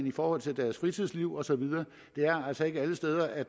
i forhold til deres fritidsliv og så videre det er altså ikke alle steder